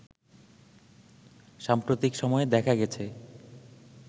সাম্প্রতিক সময়ে দেখা গেছে